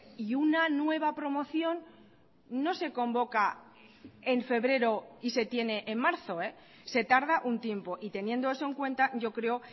y una nueva promoción no se convoca en febrero y se tiene en marzo se tarda un tiempo y teniendo eso en cuenta yo creo